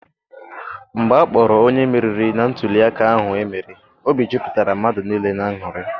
Mgbe akpọrọ onye meriri na ntụliaka ahụ emere, obi jupụtara mmadụ niile n'aṅuri.